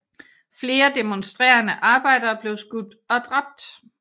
Flere demonstrerende arbejdere blev skudt og dræbt